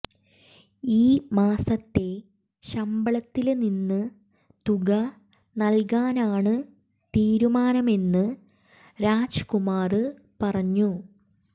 ഈ മാസത്തെ ശമ്പളത്തില് നിന്ന് തുക നല്കാനാണ് തീരുമാനമെന്ന് രാജ്കുമാര് പറഞ്ഞു